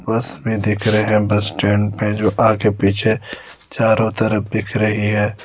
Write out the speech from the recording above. बस में देख रहे हैं बस स्टैंड पे जो आगे पीछे चारों तरफ दिख रही है।